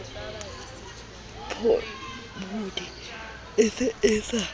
pobodi e se e sa